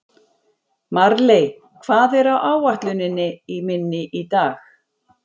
Marley, hvað er á áætluninni minni í dag?